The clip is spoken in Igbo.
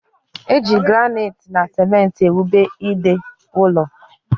Eji granaiti na simenti ewube ide ụlọ